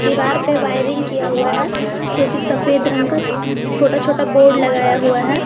दीवार पे वायरिंग किया हुआ है जोकि सफेद रंग का छोटा छोटा बोर्ड लगाया हुआ है।